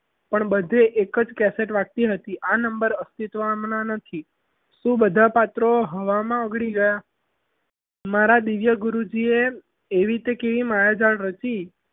પણ બધે એક જ CASSETTE વાગતી હતી આ number અસ્તિત્વમાં નથી શું બધા પાત્રો હવામાં ઓગળી ગયા મારા દિવ્ય ગુરુજીએ એવી તે કેવી માયા રચી.